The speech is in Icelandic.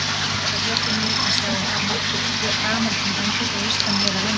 Það gladdi mig að sjá þar nokkur gamalkunn andlit að austan, meðal annarra